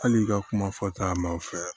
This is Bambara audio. Hali i ka kuma fɔta ma u fɛ